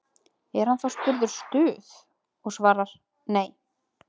Er hann þá spurður Stuð? og svarar: Nei.